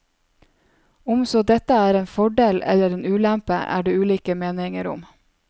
Om så dette er en fordel eller en ulempe, er det ulike meninger om.